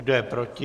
Kdo je proti?